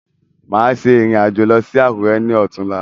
Máa ṣe ìrìn-àjò lọ sí àkùrẹ́ ni otun là